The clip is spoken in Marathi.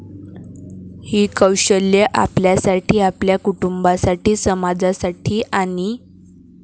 ही कौशल्यं आपल्यासाठी, आपल्या कुटुंबासाठी, समाजासाठी आणि